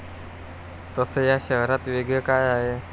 तसं या शहरात वेगळं काय आहे?